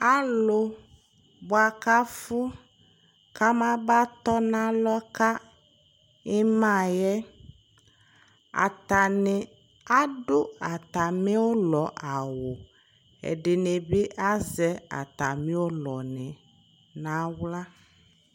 Alʋ bʋa kʋ afʋ kamaba tɔ nʋ alɔ ka ɩma yɛ Atanɩ adʋ atamɩ ʋlɔ awʋ Ɛdɩnɩ bɩ azɛ atamɩ ʋlɔnɩ nʋ aɣla